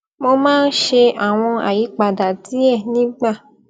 mo máa ń ṣe àwọn àyípadà díè nígbà